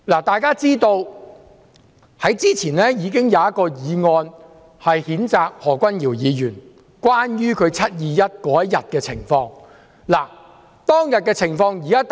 大家都知道，早前已經有一項議案譴責何君堯議員，關於他在"七二一"當天的情況。